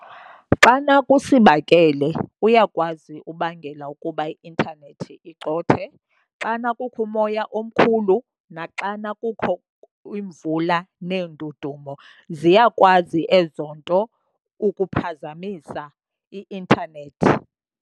Xana kusibakele uyakwazi ubangela ukuba i-intanethi icothe. Xana kukho umoya omkhulu naxana kukho imvula neendudumo ziyakwazi ezo nto ukuphazamisa i-intanethi.